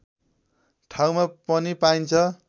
ठाउँमा पनि पाइन्छ